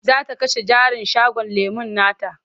Za ta kashe jarin shagon lemon nata.